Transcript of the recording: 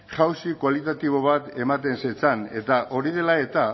jauzi kualitatibo bat ematean zetzan eta hori dela eta